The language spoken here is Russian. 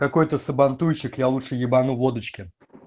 какой-то сабантуйчик я лучше ебану водочки